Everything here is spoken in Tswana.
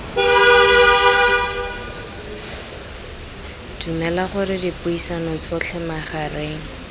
dumela gore dipuisano tsotlhe magareng